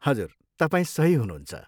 हजुर, तपाईँ सही हुनुहुन्छ।